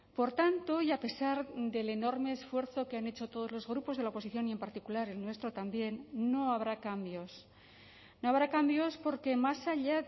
por tanto y a pesar del enorme esfuerzo que han hecho todos los grupos de la oposición y en particular el nuestro también no habrá cambios no habrá cambios porque más allá